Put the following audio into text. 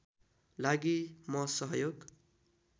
लागि म सहयोग